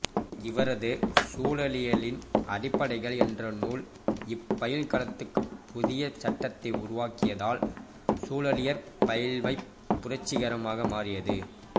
இவரது சூழலியலின் அடிப்படைகள் என்ற நூல் இப்பயில்களத்துக்குப் புதிய சட்டகத்தை உருவாக்கியதால் சூழலியற் பயில்வைப் புரட்சிகரமாக மாற்றியது